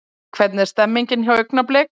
Hvernig er stemningin hjá Augnablik?